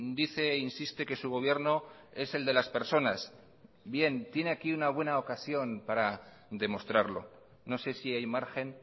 dice e insiste que su gobierno es el de las personas bien tiene aquí una buena ocasión para demostrarlo no sé si hay margen